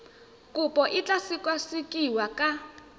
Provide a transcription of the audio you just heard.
kopo e tla sekasekiwa ka